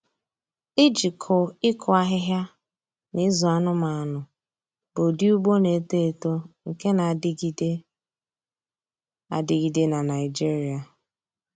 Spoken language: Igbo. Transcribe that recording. Ịjikọ ịkụ ahịhịa na ịzụ anụmanụ bụ ụdị ugbo na-eto eto nke na-adịgide adịgide na Naịjirịa.